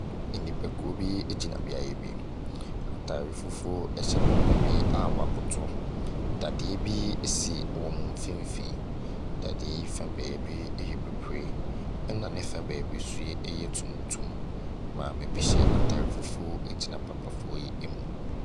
Nnipakuo bi gyina beaeɛ bi. Ataare fufuo hyɛ papa bi a wakoto. Dadeɛ bi esi wɔn mfinfin. Dadeɛ fa baabi yɛ bibire na ne fa baabi yɛ tuntum. Maabi hyɛ fufuo gyina papafoɔ yi mu.